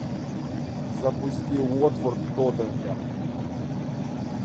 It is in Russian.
запусти уотфорд тоттенхэм